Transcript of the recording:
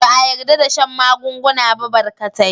Ba a yarda da shan magunguna ba barkatai.